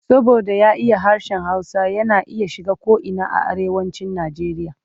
Saboda ya iya harshen Hausa yana iya shiga ko'ina a Arewacin Nijeriya.